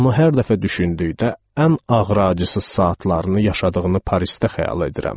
Onu hər dəfə düşündükdə ən ağır acısız saatlarını yaşadığını Parisdə xəyal edirəm.